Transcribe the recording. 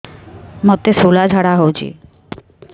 ମୋତେ ଶୂଳା ଝାଡ଼ା ହଉଚି